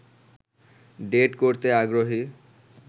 date করতে আগ্রহী